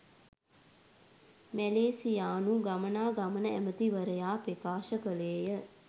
’ මැලේසියානු ගමනාගමන ඇමතිවරයා ප්‍රකාශ කළේය